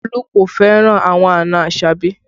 Olu kò fẹ́ràn àwọn àna Asabi